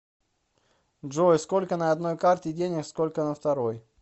джой сколько на одной карте денег сколько на второй